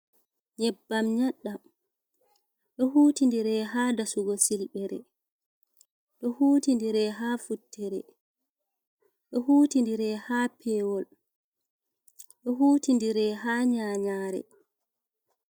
Nyebbam nyadɗam ,be huuti ndire ha dasugo silbere ɓe huuti ndire ha futtere ɓe huuti ndire ha pewol ɓe huuti ndire ha nyayare.